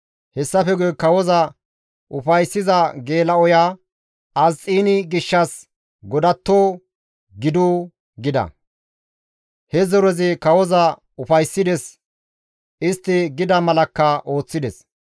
Hessafe guye kawoza ufayssiza geela7oya Asxiini gishshas godatto gidu» gida. He zorezi kawoza ufayssides; istti gida malakka ooththides.